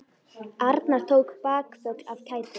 Arnar tók bakföll af kæti.